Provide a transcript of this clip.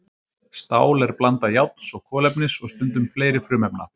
Stál er blanda járns og kolefnis og stundum fleiri frumefna.